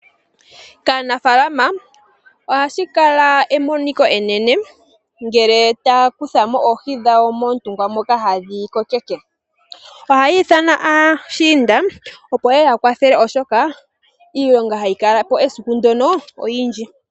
Kaanafalama ohashi kala emoniko enene ngele taya kutha mo oohi dhawo moontungwa moka hadhi kokeke. Ohaya ithana aashinda opo yeye ya kwathele oshoka, iilonga hayi kala po esiku ndyono oyindji.